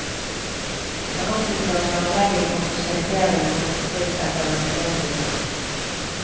Han opplyser at planlegging og prosjektering går for fullt etter den opprinnelige planen.